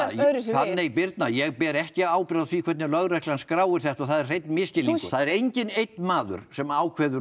Fanney Birna ég ber ekki ábyrgð á því hvernig lögreglan skráir þetta og það er hreinn misskilningur það er enginn einn maður sem ákveður